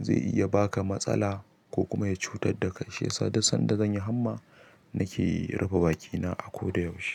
zai iya baka matsala ko kuma ya cutar da kai. Shiyasa duk sanda zanyi hamma nake rufe bakina a koda yaushe.